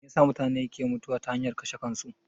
Meyasa mutune ke mutuwa ta hanyar kashe kansu?